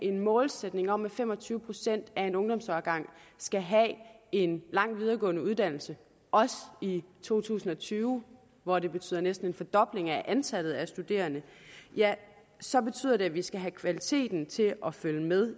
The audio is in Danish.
en målsætning om at fem og tyve procent af en ungdomsårgang skal have en lang videregående uddannelse også i to tusind og tyve hvor det betyder næsten en fordobling af antallet af studerende ja så betyder det at vi skal have kvaliteten til at følge med